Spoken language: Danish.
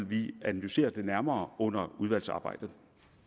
vi analysere det nærmere under udvalgsarbejdet